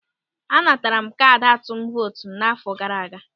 A natara m kaadị atụm vootu m n'àfọ́ gaara aga.